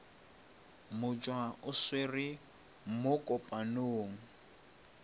motšwa o swere mo kopanong